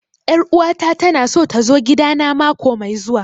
Ƴar uwa ta ta na so ta zo gida na mako mai zuwa